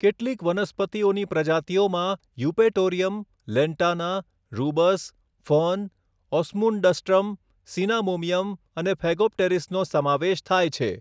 કેટલીક વનસ્પતિઓની પ્રજાતિઓમાં Eupatorium, Lantana, Rubus, fern, Osmundastrum cinnamomeum અને ફેગોપ્ટેરિસનો સમાવેશ થાય છે.